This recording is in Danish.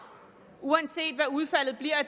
uanset hvad udfaldet